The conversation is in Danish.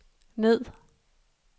ned